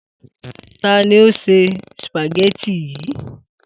Ta ni ó se sìpàgé̩tì yìí?